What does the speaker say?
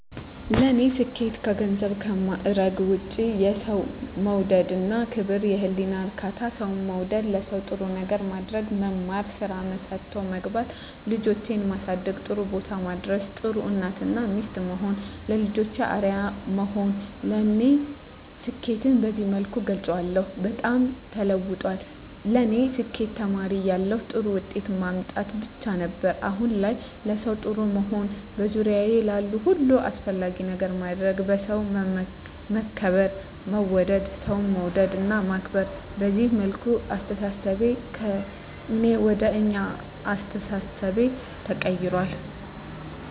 ለኔ ስኬት ከገንዘብና ከማረግ ውጭ፦ የሠው መውደድ እና ክብር፤ የህሊና እርካታ፤ ሠው መውደድ፤ ለሠው ጥሩ ነገር ማድረግ፤ መማር፤ ስራ ሠርቶ መግባት፤ ልጆቼን ማሠደግ ጥሩቦታ ማድረስ፤ ጥሩ እናት እና ሚስት መሆን፤ ለልጆቼ አርያ መሆን ለኔ ስኬትን በዚህ መልኩ እገልፀዋለሁ። በጣም ተለውጧል ለኔ ስኬት ተማሪ እያለሁ ጥሩ ውጤት ማምጣት ብቻ ነበር። አሁን ላይ ለሠው ጥሩ መሆን፤ በዙሪያዬ ላሉ ሁሉ አስፈላጊ ነገር ማድረግ፤ በሠው መከበር መወደድ፤ ሠው መውደድ እና ማክበር፤ በዚህ መልኩ አስተሣሠቤ ከእኔ ወደ አኛ አስተሣሠቤ ተቀይራል።